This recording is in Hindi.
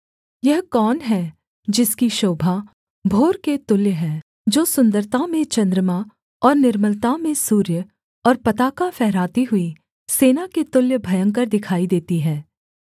यह कौन है जिसकी शोभा भोर के तुल्य है जो सुन्दरता में चन्द्रमा और निर्मलता में सूर्य और पताका फहराती हुई सेना के तुल्य भयंकर दिखाई देती है